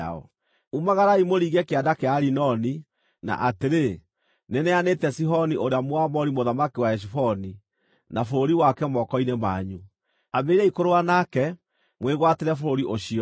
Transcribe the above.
“Umagarai mũringe Kĩanda kĩa Arinoni. Na atĩrĩ, nĩneanĩte Sihoni ũrĩa, Mũamori mũthamaki wa Heshiboni, na bũrũri wake moko-inĩ manyu. Ambĩrĩriai kũrũa nake, mwĩgwatĩre bũrũri ũcio.